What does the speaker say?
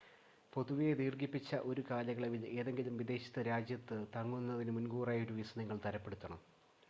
പൊതുവെ, ദീർഘിപ്പിച്ച ഒരു കാലയളവിൽ ഏതെങ്കിലും വിദേശ രാജ്യത്ത് തങ്ങുന്നതിന് മുൻകൂറായി ഒരു വിസ നിങ്ങൾ തരപ്പെടുത്തണം